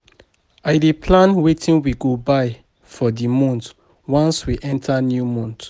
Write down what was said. I dey plan wetin we go buy for di month once we enta new month.